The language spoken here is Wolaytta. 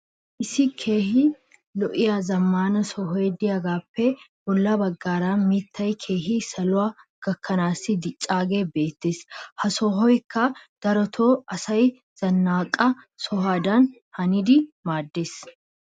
issi keehi lo'iya zamaana sohoy diyaagaappe bola bagaara mitay keehi saluwa gakkanaassi dicaagee beetees. ha sohoykka darotoo asaa zanaqqa sohodan hannidi maadees.